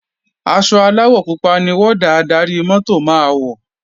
Aṣọ aláwọ̀ pupa ni wọ́dà adarí-mọ́tò máa wọ̀